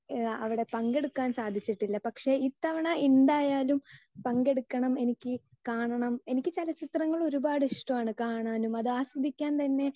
Speaker 2 അവിടെ പങ്കെടുക്കാൻ സാധിച്ചിട്ടില്ല. പക്ഷേ ഇത്തവണ എന്തായാലും പങ്കെടുക്കണം, എനിക്ക് കാണണം, എനിക്ക് ചലച്ചിത്രങ്ങൾ ഒരുപാട് ഇഷ്ടമാണ്. കാണാനും അത് ആസ്വദിക്കാൻ തന്നെ